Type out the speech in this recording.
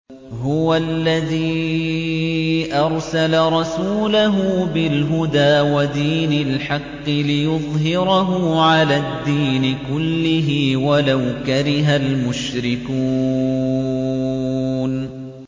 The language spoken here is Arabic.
هُوَ الَّذِي أَرْسَلَ رَسُولَهُ بِالْهُدَىٰ وَدِينِ الْحَقِّ لِيُظْهِرَهُ عَلَى الدِّينِ كُلِّهِ وَلَوْ كَرِهَ الْمُشْرِكُونَ